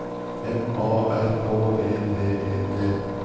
M A R K E D E T